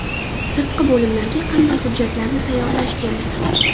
Sirtqi bo‘limlarga qanday hujjatlarni tayyorlash kerak?